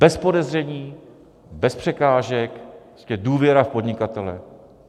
Bez podezření, bez překážek, prostě důvěra v podnikatele.